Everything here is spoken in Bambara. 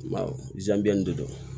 de do